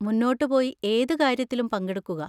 മുന്നോട്ട് പോയി ഏത് കാര്യത്തിലും പങ്കെടുക്കുക.